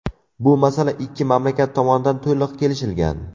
Bu masala ikki mamlakat tomonidan to‘liq kelishilgan.